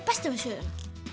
besta við söguna